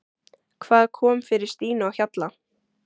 Hvað kom fyrir Stínu á Hjalla?